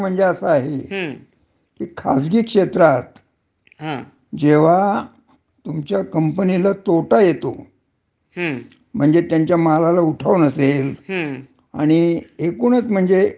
आणि एकूणच म्हणजे त्याचं आर्थिक जे त्यांना तोटा सहन होत नसेल, हं. तरी सुद्धा म्हणजे आर्थिक कंपन्या आहे ज्या खाजगी कंपन्या, हं.